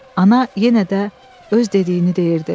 Ana yenə də öz dediyini deyirdi.